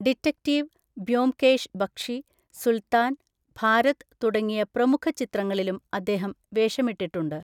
Detective Byomkesh Bakshi, Sultan, Bharat തുടങ്ങിയ പ്രമുഖ ചിത്രങ്ങളിലും അദ്ദേഹം വേഷമിട്ടിട്ടുണ്ട്.